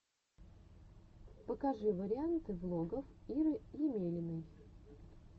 покажи варианты влогов иры емелиной